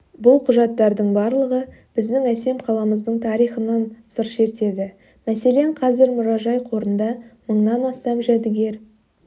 бұл құжаттардың барлығы біздің әсем қаламыздың тарихынан сыр шертеді мәселен қазір мұражай қорында мыңнан астам жәдігер